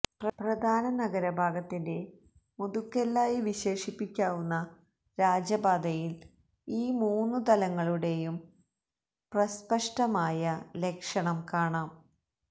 പ്രധാന നഗരഭാഗത്തിന്റെ മുതുകെല്ലായി വിശേഷിപ്പിക്കാവുന്ന രാജപാതയിൽ ഈ മൂന്നുതലങ്ങളുടേയും പ്രസ്പഷ്ടമായ ലക്ഷണം കാണാം